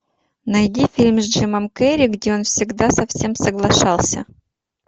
найди фильм с джимом керри где он всегда со всем соглашался